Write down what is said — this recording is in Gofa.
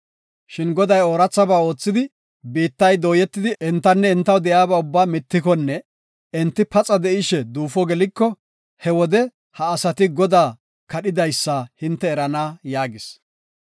Shin, Goday oorathaba oothidi, biittay dooyetidi entanne entaw de7iyaba ubbaa mittikonne enti paxa de7ishe duufo geliko he wode ha asati Godaa kadhidaysa hinte erana” yaagis.